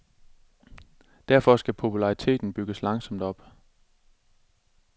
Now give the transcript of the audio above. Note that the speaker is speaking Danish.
Derfor skal populariteten bygges langsomt op.